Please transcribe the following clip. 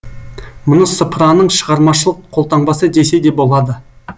мұны сыпыраның шығармашылық қолтаңбасы десе де болады